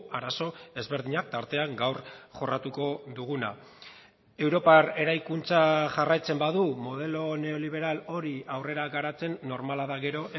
arazo ezberdinak tartean gaur jorratuko duguna europar eraikuntza jarraitzen badu modelo neoliberal hori aurrera garatzen normala da gero